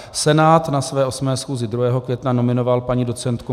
Senát na své 8. schůzi 2. května nominoval paní doc.